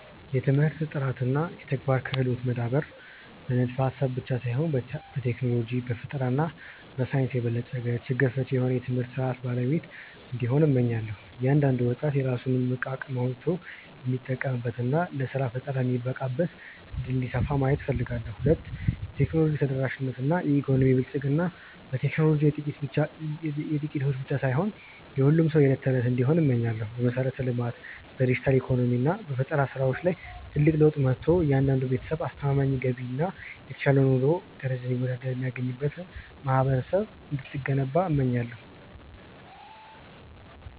1. የትምህርት ጥራት እና የተግባራዊ ክህሎት መዳበር ማህበረሰብ በንድፈ-ሐሳብ ብቻ ሳይሆን በቴክኖሎጂ፣ በፈጠራ እና በሳይንስ የበለጸገ፣ ችግር ፈቺ የሆነ የትምህርት ሥርዓት ባለቤት እንዲሆን፣ እመኛለሁ። እያንዳንዱ ወጣት የራሱን እምቅ አቅም አውጥቶ የሚጠቀምበት እና ለሥራ ፈጠራ የሚበቃበት ዕድል እንዲሰፋ ማየት እፈልጋለሁ። 2. የቴክኖሎጂ ተደራሽነት እና የኢኮኖሚ ብልጽግና ቴክኖሎጂ የጥቂቶች ብቻ ሳይሆን የሁሉም ሰው የዕለት እንዲሆን እመኛለሁ። በመሠረተ-ልማት፣ በዲጂታል ኢኮኖሚ እና በፈጠራ ሥራዎች ላይ ትልቅ ለውጥ መጥቶ፣ እያንዳንዱ ቤተሰብ አስተማማኝ ገቢ እና የተሻለ የኑሮ ደረጃ ይወዳድር የሚያገኝ ማህበረሰብ እንድትገነባ እመኛለሁ።